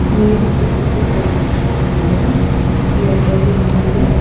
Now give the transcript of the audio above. నీరు కిందకు ప్రవహిస్తుండగా ఏర్పడి ఉంది.